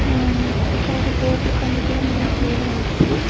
ఆ ఇక్కడ ఒక తోపుడు బండి కూడా మనం చూడవచ్చు.